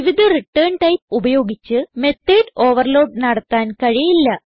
വിവിധ return type ഉപയോഗിച്ച് method overload നടത്താൻ കഴിയില്ല